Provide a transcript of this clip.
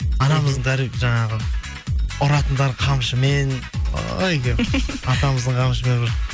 анамыздың жаңағы ұратындары қамшымен атамыздың қамшымен бір